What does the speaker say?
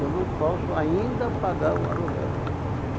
Eu não posso ainda pagar o aluguel.